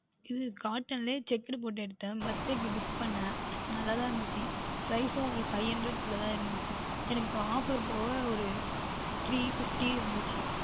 உம் Cotton ல யே Checked போற்று எடுத்தேன் Birthday க்கு Gift பண்ணினேன் நன்றாக தான் இருந்தது ஓர் Five hundred குள்ள தான் இருந்தது எனக்கு ஓர் Offer போக ஒரு Three fifty வந்தது